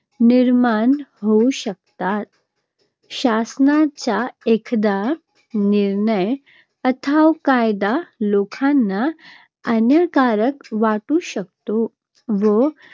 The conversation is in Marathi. निर्माण होऊ शकतात. शासनाचा एखादा निर्णय अथवा कायदा लोकांना अन्यायकारक वाटू शकतो व